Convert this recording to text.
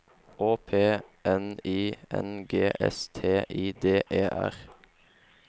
Å P N I N G S T I D E R